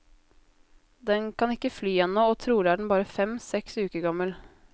Den kan ikke fly ennå, og trolig er den bare fem, seks uker gammel.